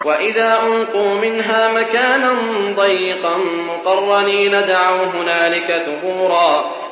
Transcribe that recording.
وَإِذَا أُلْقُوا مِنْهَا مَكَانًا ضَيِّقًا مُّقَرَّنِينَ دَعَوْا هُنَالِكَ ثُبُورًا